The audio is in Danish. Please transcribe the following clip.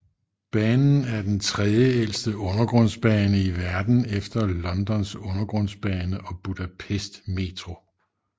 Banen er den tredjeældste undergrundsbane i verden efter Londons undergrundsbane og Budapest Metro